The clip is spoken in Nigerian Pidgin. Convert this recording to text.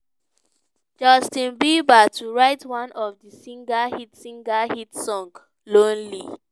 justin bieber to write one of di singer hit singer hit song "lonely".